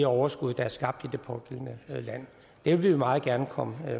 overskud der er skabt i det pågældende land det vil vi meget gerne komme